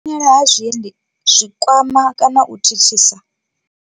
U xela ha Zwiḽi zwi kwama kana u thithisa.